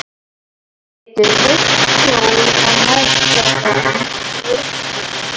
Maður getur veitt skjól og nært það sem er veikburða.